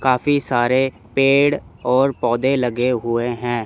काफी सारे पेड़ और पौधे लगे हुए हैं।